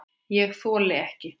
ÉG ÞOLI EKKI